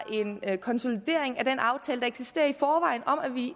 en konsolidering af den aftale der eksisterer i forvejen om at vi